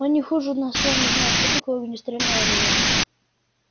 он не хуже нас с вами знает что такое огнестрельное оружие